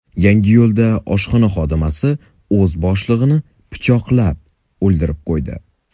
Yangiyo‘lda oshxona xodimasi o‘z boshlig‘ini pichoqlab, o‘ldirib qo‘ydi.